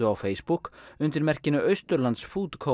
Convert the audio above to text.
á Facebook undir merkinu Austurlands food